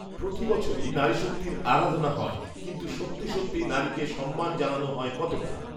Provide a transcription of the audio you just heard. প্রতি বছরই নারীশক্তির আরাধনা হয়৷ কিন্তু সত্যি সত্যি নারীকে সম্মান জানানো হয় কতটা